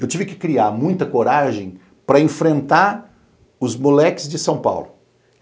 Eu tive que criar muita coragem para enfrentar os moleques de São Paulo.